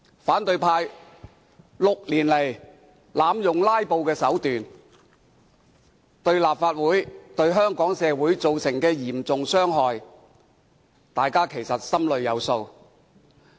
反對派6年來濫用"拉布"手段，對立法會及香港社會造成嚴重傷害，大家心中有數。